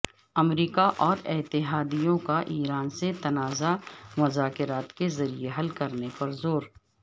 امریکہ اور اتحادیوں کا ایران سے تنازع مذاکرات کے ذریعے حل کرنے پر زور